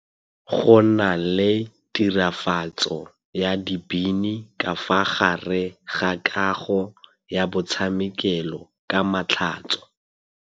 Go na le tirafatsô ya dibini ka fa gare ga kagô ya botshamekêlô ka matlhatso.